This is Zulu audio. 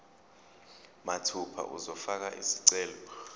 mathupha uzofaka isicelo